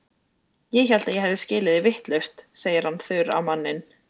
Ég hélt að ég hefði skilið þig vitlaust, segir hann þurr á manninn.